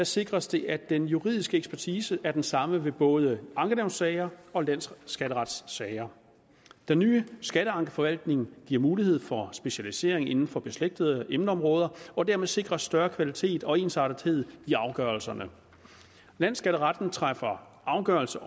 sikres det at den juridiske ekspertise er den samme ved både ankenævnssager og landsskatteretssager den nye skatteankeforvaltning giver mulighed for specialisering inden for beslægtede emneområder og dermed sikres større kvalitet og ensartethed i afgørelserne landsskatteretten træffer afgørelse